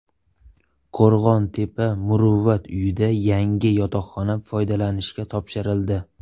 Qo‘rg‘ontepa Muruvvat uyida yangi yotoqxona foydalanishga topshirildi.